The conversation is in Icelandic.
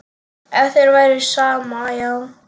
Ef þér væri sama, já.